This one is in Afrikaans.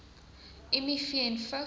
miv en vigs